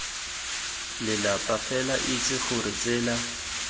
lelapa fela itse gore tsela